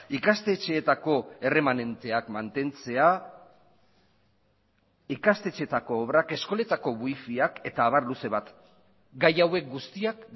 ikastetxeetako erremanenteak mantentzea ikastetxeetako obrak eskoletako wifiak eta abar luze bat gai hauek guztiak